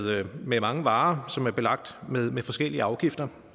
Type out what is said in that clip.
med mange varer som er belagt med forskellige afgifter